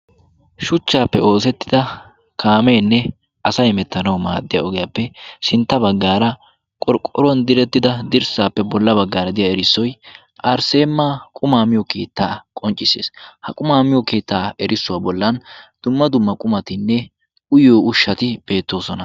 shuchchaappe oosettida kaameenne asay mettanau maaddiya ogiyaappe sintta baggaara qorqqoruwan direttida dirssaappe bolla baggaara diya erissoy arsseema qumaamiyo keettaa qonccissees ha qumaam iyo keettaa erissuwaa bollan dumma dumma qumatinne uyyo ushati beettoosona